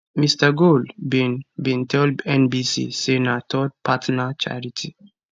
mr gold bin bin tell nbc say na third partner charity